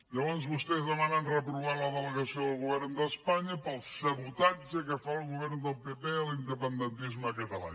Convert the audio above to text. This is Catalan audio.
llavors vostès demanen reprovar la delegació del govern d’espanya pel sabotatge que fa el govern del pp a l’independentisme català